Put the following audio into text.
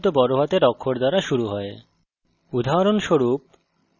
এর অর্থ প্রতিটি নতুন শব্দ বড় হাতের অক্ষর দ্বারা শুরু হয়